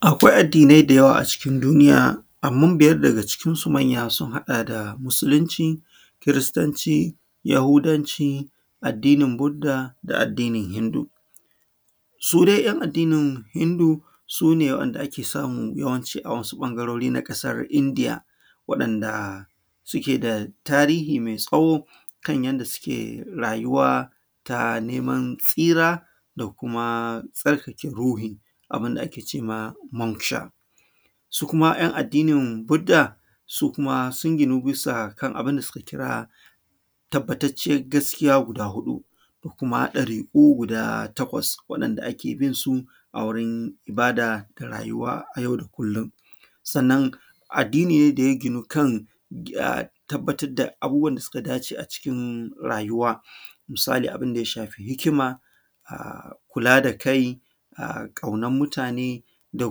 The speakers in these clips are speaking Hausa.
Akwai addinai da yawa a cikin duniya, amman biyad daga cikinsu manya sun haɗa da Musulunci, Kiristanci, Yahudanci, addinin Budda da addini Hindu. Su dai ‘yan addinin Hindu, su ne wa’yanda ake samu yawanci a wasu ƃangarori na ƙasar Indiya, waɗanda suke da tarihi mai tsawo kan yanda suke rayuwa ta neman tsira da kuma tsarkake ruhi, abin da ake ce ma “Manksha”. Su kuma ‘yan addinin Budda, su kuma sun ginu bisa kan bun da suka kira tabbatacciyar gaskiya guda huɗu da kuma ɗariƙu guda takwas waɗanda ake bin su a wurin ibada da rayuwa a yau da kullin. Sannan, addini ne da ya ginu kan gi; a; tabbatad da abubuwan da suka dace a cikin rayuwa. Musali abun da ya shafi hikima, kula da kai, a; ƙaunan mutane da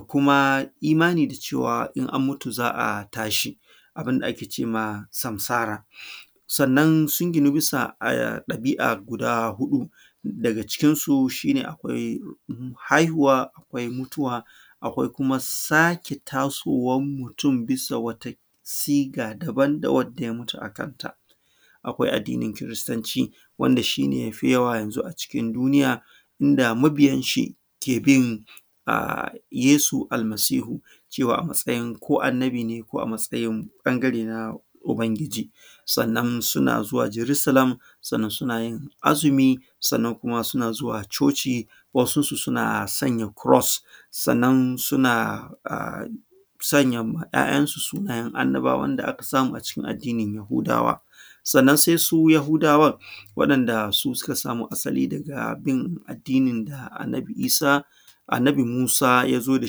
kuma imani da cewa, in an mutu za a tashi. Abun da ake ce ma “Samsara”. Sannan, sun ginu bisa, a; ɗabi’a guda huɗu, daga cikinsu, shi ne akwai haihuwa, akwai mutuwa, akwai kuma sake tasowan mutun bisa wata siga daban da wadda ya mutu a kanta. Akwai addini Kiristanci, wanda shi ne ya fi yawa yanzu a cikin duniya, inda mabiyanshi ke bin, a; Yesu Almasihu, cewa a matsayin ko Annabi ne ko a matsayin ƃangare na Ubangiji. Sannan, suna zuwa Jerisalam, sannan suna yin azumi, sannan kuma suna zuwa coci. Wasunsu, suna sanya kuros, sannan suna a; sanya ma ‘ya’yansu sunayen Annabawan da aka samu a cikin addini Yahudawa. Sannan, se su Yahudawan, waɗanda su suka samo asali daga bin addinin da Annabi Isa, Annabi Musa ya zo da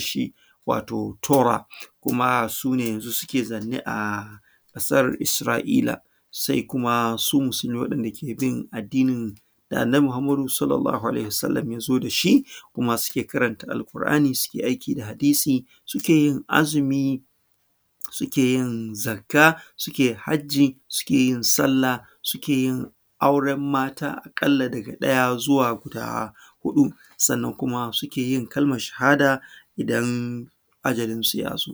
shi, wato Tora, kuma su ne yanzu suke zanne a ƙasar Isra’ila. Se kuma su Musulmai, waɗanda ke bin addinin da Annabi Muhammadu Sallallahu Alaihi Wa Sallam ya zo da shi. Kuma, suke karanta alƙur’ani, sike aiki da hadisi, suke yin azumi, suke yin zakka, suke hajji, suke yin sallah, suke yin auren mata aƙalla daga ɗaya zuwa guda huɗu. Sannan kuma, suke yin kalman shahada, idan ajalinsu ya zo.